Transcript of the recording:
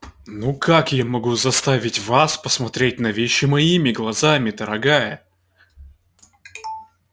ну как могу я заставить вас посмотреть на вещи моими глазами дорогая